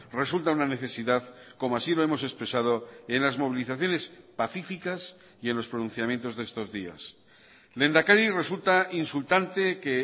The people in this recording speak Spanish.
resulta una necesidad como así lo hemos expresado en las movilizaciones pacíficas y en los pronunciamientos de estos días lehendakari resulta insultante que